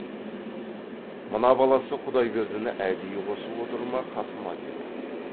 мына баласы құдайбердіні әдейі қосып отыр ма қасыма деді